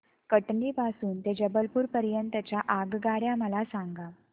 कटनी पासून ते जबलपूर पर्यंत च्या आगगाड्या मला सांगा